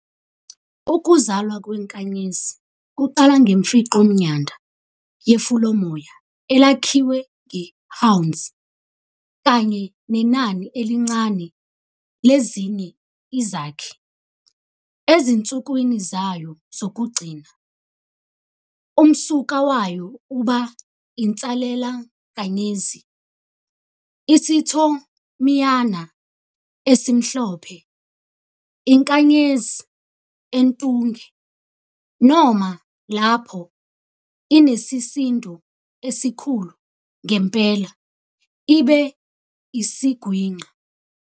Ukuzalwa kwenkanyezi kuqala ngemfingqomNyanda yefulomoya elakhiwe ngeHwanzi, kanye nenani elincane lezinye izakhi. Ezinsukwini zayo zokugcina, umsuka wayo uba insalelankanyezi -isiThomiyana esimhlophe, iNkanyezi entunge, noma lapho inesisindo esikhulu ngempela, ibe isiGwinqa.